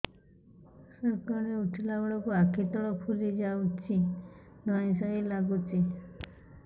ସକାଳେ ଉଠିଲା ବେଳକୁ ଆଖି ତଳ ଫୁଲି ଯାଉଛି ଧଇଁ ସଇଁ ଲାଗୁଚି